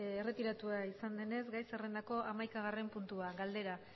erretiratua izan denez gai zerrendako hamaikagarren puntua galdera